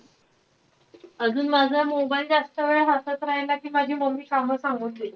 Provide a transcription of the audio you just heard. अजून माझा mobile जास्त वेळ हातात राहिला कि माझी mummy कामं सांगून देते.